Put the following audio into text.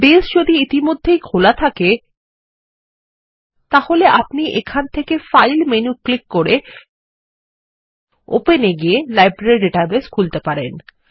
base যদি ইতিমধ্যেই খোলা থাকে তাহলে আপনি এখান থেকে ফাইল মেনু ক্লিক করে ওপেন এ গিয়ে লাইব্রেরী ডাটাবেস খুলতে পারেন